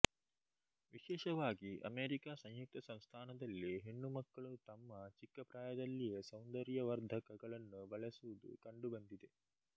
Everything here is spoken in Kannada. ವಿಶೇಷವಾಗಿ ಅಮೇರಿಕಾ ಸಂಯುಕ್ತ ಸಂಸ್ಥಾನದಲ್ಲಿ ಹೆಣ್ಣು ಮಕ್ಕಳು ತಮ್ಮ ಚಿಕ್ಕ ಪ್ರಾಯದಲ್ಲಿಯೇ ಸೌಂದರ್ಯುವರ್ಧಕಗಳನ್ನು ಬಳಸುವುದು ಕಂಡುಬಂದಿದೆ